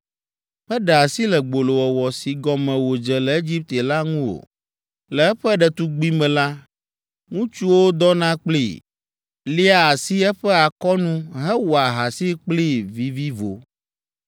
Meɖe asi le gbolowɔwɔ si gɔme wòdze le Egipte la ŋu o. Le eƒe ɖetugbime la, ŋutsuwo dɔna kplii, lia asi eƒe akɔnu hewɔa ahasi kplii vivivo.